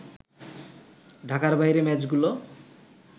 ঢাকার বাইরে ম্যাচগুলো